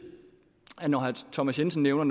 når herre thomas jensen nævner